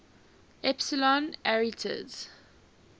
epsilon arietids